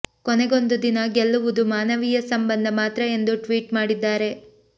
ಕೊನೆಗೊಂದು ದಿನ ಗೆಲ್ಲುವುದು ಮಾನವೀಯ ಸಂಬಂಧ ಮಾತ್ರ ಎಂದು ಟ್ವೀಟ್ ಮಾಡಿದ್ದಾರೆ